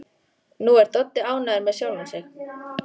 Nú er Doddi ánægður með sjálfan sig.